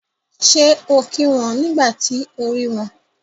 Ṣé o kí wọn nígbà tí o rí wọn?